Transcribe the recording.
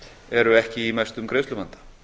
eru ekki í mestum greiðsluvanda